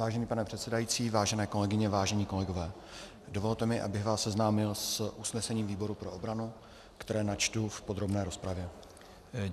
Vážený pane předsedající, vážené kolegyně, vážení kolegové, dovolte mi, abych vás seznámil s usnesením výboru pro obranu, které načtu v podrobné rozpravě.